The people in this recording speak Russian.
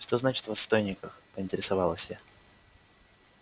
что значит в отстойниках поинтересовалась я